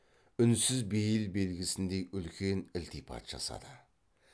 үнсіз бейіл белгісіндей үлкен ілтипат жасады